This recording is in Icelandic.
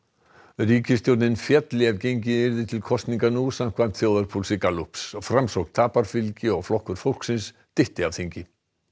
ríkisstjórnin félli ef gengið yrði til kosninga nú samkvæmt þjóðarpúlsi Gallups framsókn tapar fylgi og Flokkur fólksins dytti af þingi